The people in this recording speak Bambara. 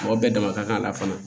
Mɔgɔ bɛɛ dama ka kan a la fana